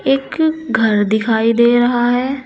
एक घर दिखाई दे रहा है।